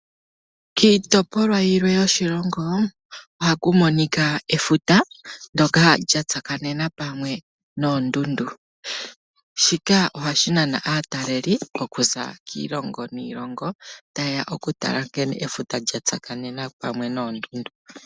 Kiitopolwa yilwe yoshilongo ohaku monika efuta ndoka lyatsakanena pamwe noondundu, shika ohashi nana aataleli okuza kiilongo niilongo tayeya okutala nkene efuta lyatsakanena pamwe noondundu.